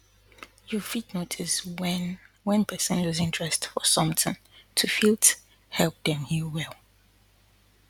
you fit notice wen wen person loose interest for something to fit help dem heal well